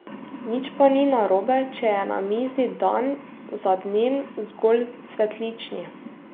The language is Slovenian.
Nič pa ni narobe, če je na mizi dan za dnem zgolj cvetlični.